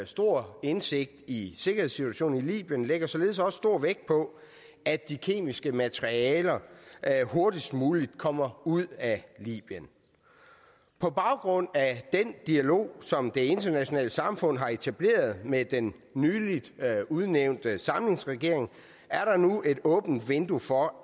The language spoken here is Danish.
stor indsigt i sikkerhedssituationen i libyen lægger således også stor vægt på at de kemiske materialer hurtigst muligt kommer ud af libyen på baggrund af den dialog som det internationale samfund har etableret med den nylig udnævnte samlingsregering er der nu et åbent vindue for